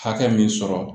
Hakɛ min sɔrɔ